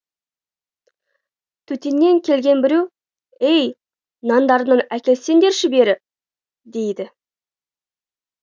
төтеңнен келген біреу ей нандарыңнан әкелсеңдерші бері дейді